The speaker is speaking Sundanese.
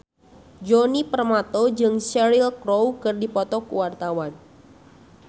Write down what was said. Djoni Permato jeung Cheryl Crow keur dipoto ku wartawan